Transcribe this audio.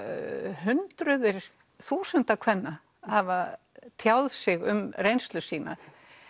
hundruð þúsunda kvenna hafa tjáð sig um reynslu sína